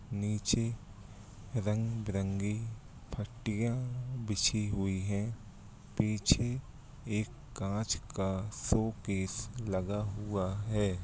निचे रंगबेरंगी पट्टिया बिछाई हुई हे पीछे एक काचका शो केस लगा हुआ |